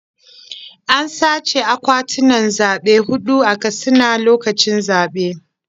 An sace akwatunan zaɓe huɗu a Katsina lokacin zaɓe.